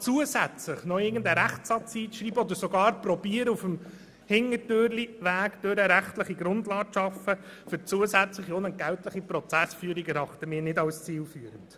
Wir erachten es nicht als zielführend, hier noch etwas aufzunehmen oder sogar zu versuchen, mittels Hintertürchen eine rechtliche Grundlage für zusätzliche unentgeltliche Prozessführungen zu schaffen.